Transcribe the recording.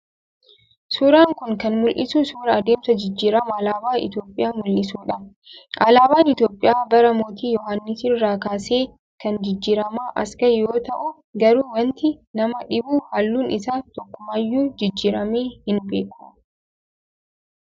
Suuraan kun kan mul'isu suuraa adeemsa jijjiirama alaabaa Itoophiyaa mul'isuu dha. Alaabaan Itoophiyaa bara Mootii Yohaannis irraa kaasee kan jijjiramaa as ga'e yoo ta'u garuu wanti nama dhibu halluun isaa takkumaayyuu jijjiiramee hin beeku.